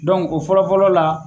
o fɔlɔ-fɔlɔ la